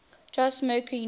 jose mercury news